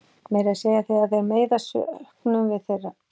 Meira að segja þegar þeir meiðast söknum við þeirra.